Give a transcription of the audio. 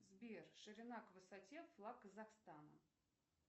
сбер ширина к высоте флаг казахстана